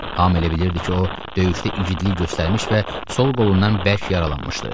Hamı elə bilirdi ki, o döyüşdə igidlik göstərmiş və sol qolundan bərk yaralanmışdı.